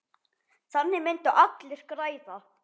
Þannig myndu allir græða.